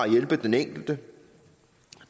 hjælpe den enkelte